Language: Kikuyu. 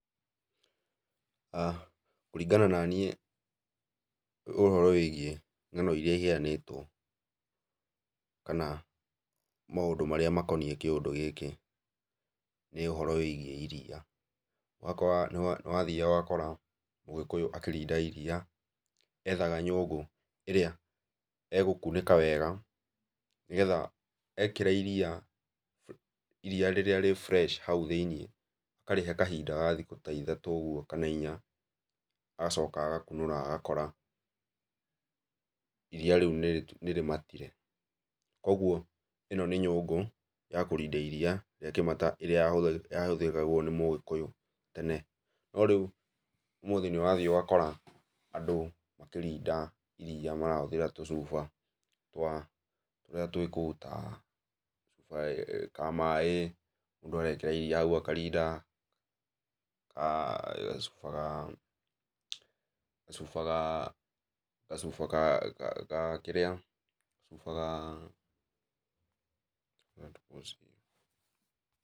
Kũringana na niĩ ũhoro wĩgiĩ ng'ano iria iheanĩtwo, kana maũndũ marĩa makoniĩ kĩũndũ gĩkĩ, nĩ ũhoro wĩgiĩ iria. Ũgakora nĩwathiaga ũgakora Mũgĩkũyũ akĩrinda iria, ethaga nyũngũ, ĩrĩa egũkunĩka wega nĩgetha ekĩra iria, iria rĩrĩa rĩ fresh hau thĩiniĩ, akarĩhe kahinda ga thikũ ta ithatũ ũguo kana inya, agacoka agakunũra agakora iria rĩu nĩrĩmatire, kuoguo ĩno nĩ nyũngũ ya kũrinda iria rĩa kĩmata ĩrĩa yahũthagĩrwo nĩ Mũgĩkũyũ tene. No rĩu ũmũthĩ nĩũrathiĩ ũgakora andũ makĩrinda iria marahũthĩra tũcuba twa tũrĩa kũndũ ta, ka maĩ, mũndũ agekĩra iria hau akarinda, ka gacuba ga gacuba ga gacuba ga ga kĩrĩa gacuba ga